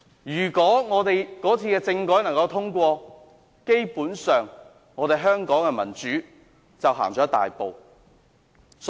如果那次政改獲得通過，基本上香港的民主便走前了一大步。